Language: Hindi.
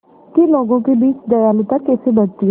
कि लोगों के बीच दयालुता कैसे बढ़ती है